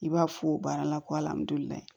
I b'a fɔ o baara la ko